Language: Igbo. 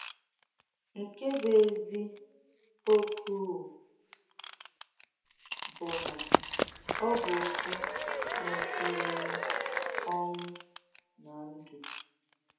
Nkè bù̀ èzí ọ̀kúwù bù̀ nà ọ bù̀ òkwù mètùrù ọ́nwú nà ǹdú.